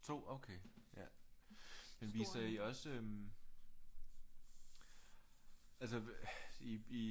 2 okay ja men viser I også øh altså I